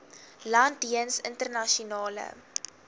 land jeens internasionale